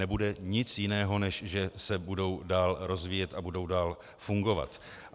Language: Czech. Nebude nic jiného, než že se budou dál rozvíjet a budou dál fungovat.